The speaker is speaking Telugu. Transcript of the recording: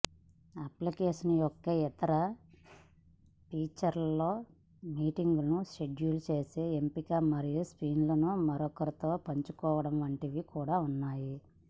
అప్లికేషన్ యొక్క ఇతర ఫీచర్లలో మీటింగులను షెడ్యూల్ చేసే ఎంపిక మరియు స్క్రీన్లను మరొకరితో పంచుకోవడం వంటివి కూడా ఉన్నాయి